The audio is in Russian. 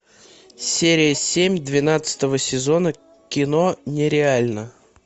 серия семь двенадцатого сезона кино нереально